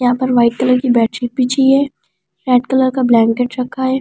यहां पर white colour की बेड शीट बिछी है रेड कलर का ब्लेंकेट रखा है बेड पर एक।